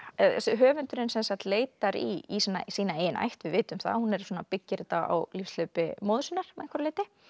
höfundurinn sem sagt leitar í sína eigin ætt við vitum að hún byggir þetta á lífshlaupi móður sinnar að einhverju leyti